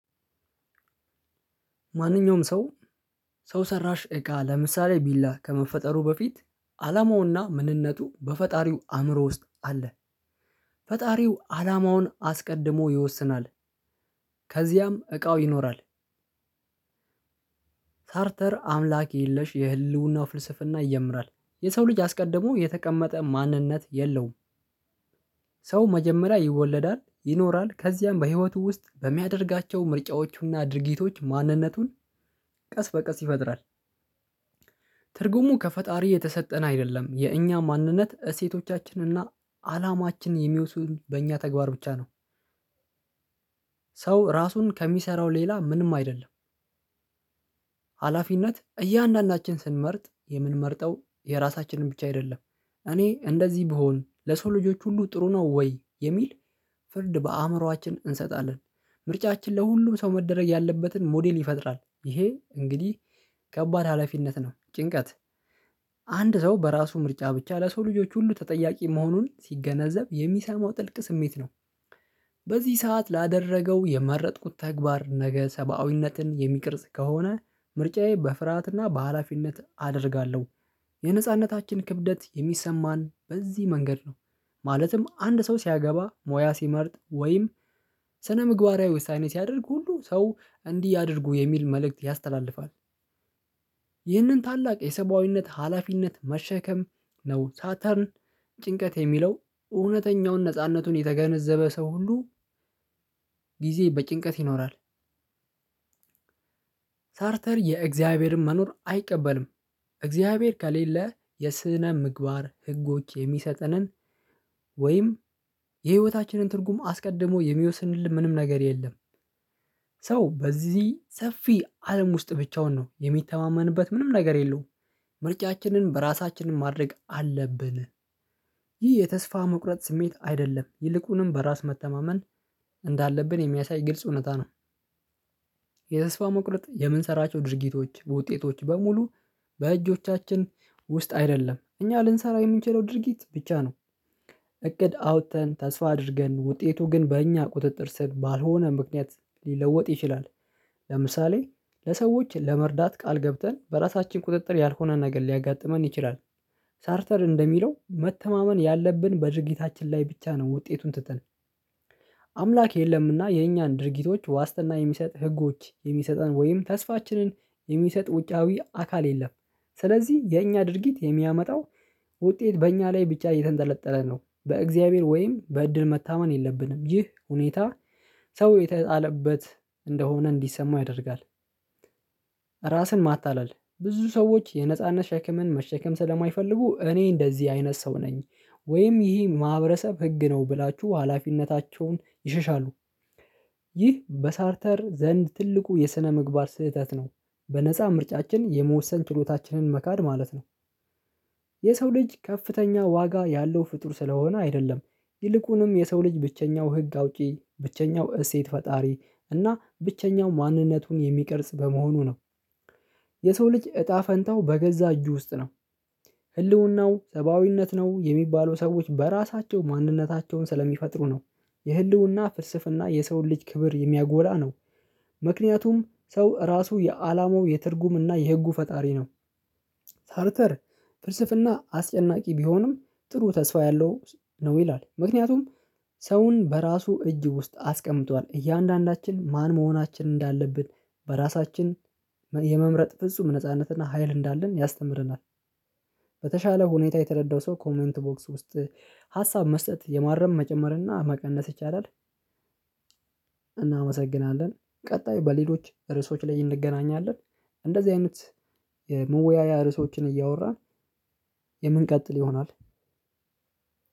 ማንኛውም ሰው ሰው ሰራሽ እቃ ለምሳሌ ቢላ ከመፈጠሩ በፊት አላማውና ምንነቱ በፈጣሪው አእምሮ ውስጥ አለ። ፈጣሪው አላማውን አስቀድሞ ይወስናል። ከዚያም እቃው ይኖራል። ታርተር አምላክ የለሽ የህልውናው ፍልስፍና ይጀምራል። የሰው ልጅ አስቀድሞ የተቀመጠ ማንነት የለውም። ሰው መጀመሪያ ይወለዳል፣ ይኖራል ከዚያም በህይወቱ ውስጥ በሚያደርጋቸው ምርጫዎቹና ድርጊቶች ማንነቱን ቀስ በቀስ ይፈጥራል። ትርጉሙ ከፈጣሪ የተሰጠን አይደለም። የእኛ ማንነት እሴቶቻችን እና አላማችን የሚወሰኑት በእኛ ተግባር ብቻ ነው። ሰው ራሱን ከሚሰራው ሌላ ምንም አይደለም ሀላፊነት እያንዳንዳችን ስንመርጥ የምንመርጠው የራሳችንን ብቻ አይደለም። እኔ እንደዚህ ብሆን ለሰው ልጆች ሁሉ ጥሩ ነው ወይ? የሚል ፍርድ በአእምሮአችን እንሰጣለን። ምርጫችን ለሁሉም ሰው መደረግ ያለበትን ሞዴል ይፈጥራል። ይሄ እንግዲህ ከባድ ሀላፊነት ነው። ጭንቀት አንድ ሰው በራሱ ምርጫ ብቻ ለሰው ልጆች ሁሉ ተጠያቂ መሆኑን ሲገነዘብ የሚሰማው ጥልቅ ስሜት ነው። በዚህ ሰዓት ላደረገው የመረጥኩት ተግባር ነገ ሰብአዊነትን የሚቀርጽ ከሆነ ምርጫዬ በፍርሃትና በሃላፊነት አደርጋለሁ። የነጻነታችን ክብደት የሚሰማን በዚህ መንገድ ነው። ማለትም አንድ ሰው ሲያገባ፣ ሞያ ሲመርጥ ወይም ስነ ምግባራዊ ውሳኔ ሲያደርግ ሁሉ ሰው እንዲህ ያድርጉ የሚል መልእክት ያስተላልፋል። ይህንን ታላቅ የሰብአዊነት ሀላፊነት መሸከም ነው ሳተርን ጭንቀት የሚለው እውነተኛውን ነጻነቱን የተገነዘበ ሰው ሁሉ ጊዜ በጭንቀት ይኖራል። ሳርተር የእግዚአብሔርን መኖር አይቀበልም። እግዚአብሔር ከሌለ የስነ ምግባር ህጎች የሚሰጠንን ወይም የህይወታችንን ትርጉም አስቀድሞ የሚወስንልን ምንም ነገር የለም ሰው በዚህ ሰፊ አለም ውስጥ ብቻውን ነው። የሚተማመንበት ምንም ነገር የለውም። ምርጫችንን በራሳችን ማድረግ አለብን። ይህ የተስፋ መቁረጥ ስሜት አይደለም። ይልቁንም በራስ መተማመን እንዳለብን የሚያሳይ ግልጽ እውነታ ነው። የተስፋ መቁረጥ የምንሰራቸው ድርጊቶች በውጤቶች በሙሉ በእጆቻችን ውስጥ አይደለም። እኛ ልንሰራው የምንችለው ድርጊት ብቻ ነው። እቅድ አውጥተን፣ ተስፋ አድርገን ውጤቱ ግን በእኛ ቁጥጥር ስር ባልሆነ ምክንያት ሊለወጥ ይችላል። ለምሳሌ ለሰዎች ለመርዳት ቃል ገብተን በራሳችን ቁጥጥር ያልሆነ ነገር ሊያጋጥመን ይችላል። ሳርተር እንደሚለው መተማመን ያለብን በድርጊታችን ላይ ብቻ ነው ውጤቱን ትተን። አምላክ የለምና የኛን ድርጊቶች ዋስትና የሚሰጥ፣ ህጎች የሚሰጠን ወይም ተስፋችንን የሚሰጥ ውጫዊ አካል የለም። ስለዚህ የእኛ ድርጊት የሚያመጣው ውጤት በእኛ ላይ ብቻ የተንጠለጠለ ነው። በእግዚአብሔር ወይም በእድል መታመን የለብንም። ይህ ሁኔታ ሰው የተጣለበት እንደሆነ እንዲሰማው ያደርጋል። ራስን ማታለል ብዙ ሰዎች የነጻነት ሸክምን መሸከም ስለማይፈልጉ፤ እኔ እንደዚህ አይነት ሰው ነኝ ወይም ይህ ማህበረሰብ ህግ ነው ብላችሁ ሀላፊነታቸውን ይሸሻሉ። ይህ በሳርተር ዘንድ ትልቁ የስነምግባር ስህተት ነው። በነፃ ምርጫችን የመወሰን ችሎታችንን መካድ ማለት ነው። የሰው ልጅ ከፍተኛ ዋጋ ያለው ፍጡር ስለሆነ አይደለም። ይልቁንም የሰው ልጅ ብቸኛው ህግ አውጪ፣ ብቸኛው እሴት ፈጣሪ እና ብቸኛው ማንነቱን የሚቀርጽ በመሆኑ ነው። የሰው ልጅ እጣ ፈንታው በገዛ እጁ ውስጥ ነው። ህልውናው ሰብአዊነት ነው የሚባሉ ሰዎች በራሳቸው ማንነታቸውን ስለሚፈጥሩ ነው። የህልውና ፍስፍና የሰውን ልጅ ክብር የሚያጎላ ነው። ምክንያቱም ሰው ራሱ የአላማው የትርጉም እና የህጉ ፈጣሪ ነው። ታርተር ፍልስፍና አስጨናቂ ቢሆንም ጥሩ ተስፋ ያለው ነው ይላል። ምክንያቱም ሰውን በራሱ እጅ ውስጥ አስቀምጧል። እያንዳንዳችን ማን መሆናችን እንዳለብን በራሳችን የመምረጥ ፍጹም ነጻነትና ሀይል እንዳለን ያስተምረናል። በተሻለ ሁኔታ የተረዳው ሰው ኮመንት ቦክስ ውስጥ ሀሳብ መስጠት፣ የማረም፣ መጨመር እና መቀነስ ይቻላል። እናመሰግናለን ቀጣይ በሌሎች ርዕሶች ላይ እንገናኛለን። እንደዚህ አይነት የመወያያ ርዕሶችን እያወራን የምንቀጥል ይሆናል።